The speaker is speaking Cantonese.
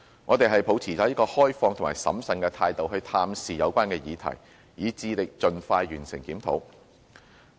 我們是抱持着開放和審慎的態度探視有關議題，以致力盡快完成檢討。